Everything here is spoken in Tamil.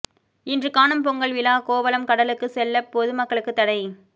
இன்று காணும் பொங்கல் விழா கோவளம் கடலுக்கு செல்ல பொதுமக்களுக்கு தடை